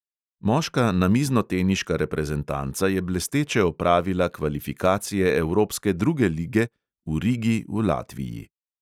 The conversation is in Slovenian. Moška namiznoteniška reprezentanca je blesteče opravila kvalifikacije evropske druge lige v rigi v latviji.